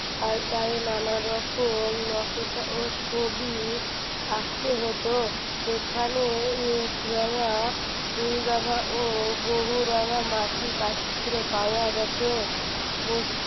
আর গায়ে নানা রকম নকশা ও ছবি আঁকতে হতো সেখানে এক রঙা দুই রঙা ও বহু রঙা মাটির পাত্র পাওয়া গেছে